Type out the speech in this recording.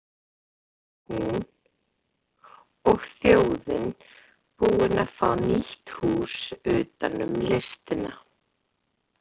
Listasafns Íslands og hún og þjóðin búin að fá nýtt hús utanum listina.